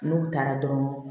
N'u taara dɔrɔn